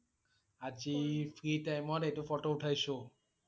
আ~জি free time ত এইটো photo উঠাইছো!